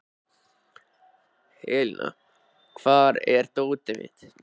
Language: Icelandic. Elíná, hvar er dótið mitt?